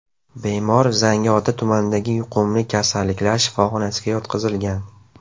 Bemor Zangiota tumanidagi yuqumli kasalliklar shifoxonasiga yotqizilgan.